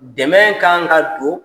Dɛmɛ kaa ŋa don